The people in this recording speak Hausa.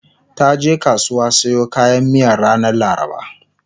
taje kasuwa siyo kayan miyan ranar laraba